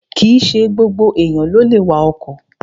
Kìíse gbogbo èèyàn ló lè wa ọkọ̀